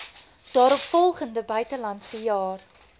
daaropvolgende buitelandse jaar